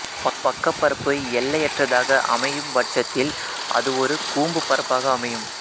பக்கப் பரப்பு எல்லையற்றதாக அமையும்பட்சத்தில் அது ஒரு கூம்புப் பரப்பாக அமையும்